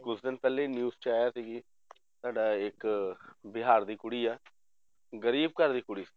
ਕੁਛ ਦਿਨ ਪਹਿਲੇ ਹੀ news ਚ ਆਇਆ ਸੀ ਕਿ ਸਾਡਾ ਇੱਕ ਬਿਹਾਰ ਦੀ ਕੁੜੀ ਹੈ ਗ਼ਰੀਬ ਘਰ ਦੀ ਕੁੜੀ